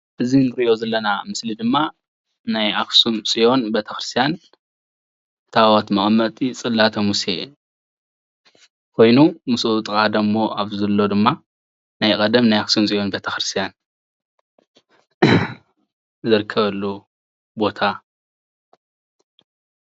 እዚ እንሪኦ ዘለና ምስሊ ድማ ናይ ኣክሱም ፅዮን ቤተክርስትያን ታወት መቐመጢ ፅላተ ሙስየ ኮይኑ ምስኡ ኣብጥቅኡ ዘሎ ድማ ናይ ቀደም ኣክሱም ፅዮን ቤተክርስትያን ዝርከበሉ ቦታ።